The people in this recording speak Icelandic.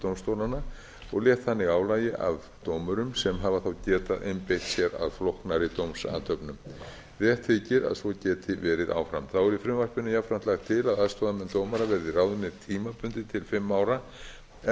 dómstólanna og létt þannig álagi af dómurum sem hafa þá getað einbeitt sér að flóknari dómsathöfnum rétt þykir að svo geti verið áfram þá er í frumvarpinu jafnframt lagt til að aðstoðarmenn dómara verði ráðnir tímabundið til fimm ára en